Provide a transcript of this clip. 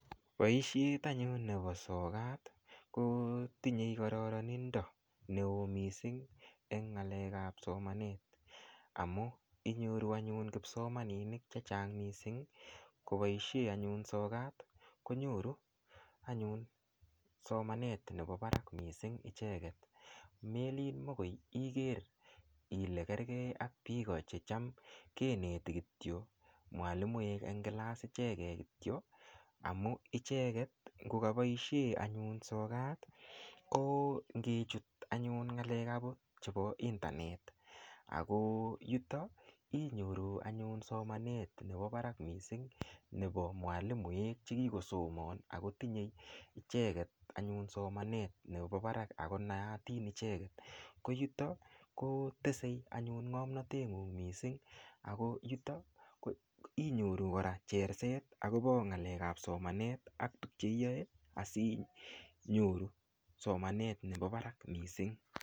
Boishet anyun nepo sokat ko tinyei kororonindio neo mising eng ng'alek ap somanet amu inyoru anyun kipsomaninik chechang mising koboishe anyun sokat konyoru anyun somanet nepo barak mising icheket melin mokoi iker ile kerkei ak piko checham keneti kityo mwalimoek eng kilass ichekei kityo amu icheket ngikaboishe anyun sokat ko ngechut anyun ng'alek ap akot chepo internet ako yuto inyoru anyun somanet nepo barak mising nepo mwalimoek chekiko somon akotinyei icheket anyun somanet nepo barak akonaatin icheket koyuto tesei anyun ng'omnotet ng'ung' mising ako yuto koinyoru kora cherset akopo ng'alek ap somanet ak tukche iyoe asinyoru somanet nepo barak mising.